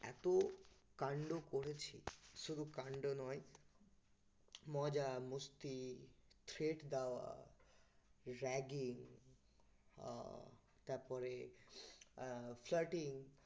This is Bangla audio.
এত কান্ড করেছি, শুধু কান্ড নয় মজা, মস্তি, threat দেওয়া, ragging আহ তারপরে আহ flirting